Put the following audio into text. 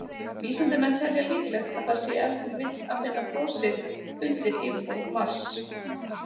Vísindamenn telja líklegt að það sé ef til vill að finna frosið undir yfirborði Mars.